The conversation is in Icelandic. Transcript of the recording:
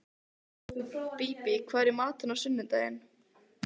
Bíbí, hvað er í matinn á sunnudaginn?